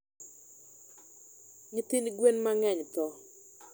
Nyithind gwen mang'eny tho.